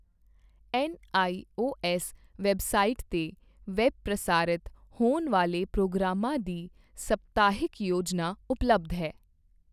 NIOS website ਤੇ web ਪ੍ਰਸਾਰਿਤ ਹੋਣ ਵਾਲੇ ਪ੍ਰੋਗਰਾਮ ਾਂ ਦੀ ਸਪਤਾਹਿਕ ਯੋਜਨਾ ਉਪਲੱਬਧ ਹੈ।